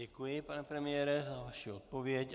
Děkuji, pane premiére, za vaši odpověď.